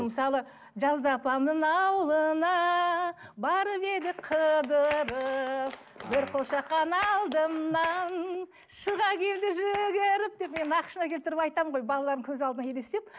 мысалы жазда апамның ауылына барып едік қыдырып бір қошақан алдымнан шыға келді жүгіріп деп мен нақышына келтіріп айтамын ғой балаларымның көз алдына елестеп